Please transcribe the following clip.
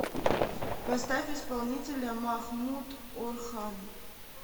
поставь исполнителя махмут орхан